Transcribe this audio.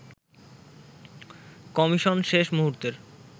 commission শেষ মুহুর্তের